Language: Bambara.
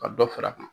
Ka dɔ fara a kan